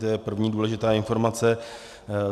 To je první důležitá informace.